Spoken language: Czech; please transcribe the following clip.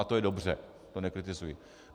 A to je dobře, to nekritizuji.